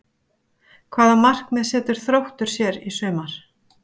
Hvaða markmið setur Þróttur sér í sumar?